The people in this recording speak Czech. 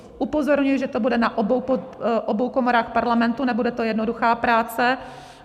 Upozorňuji, že to bude na obou komorách Parlamentu, nebude to jednoduchá práce.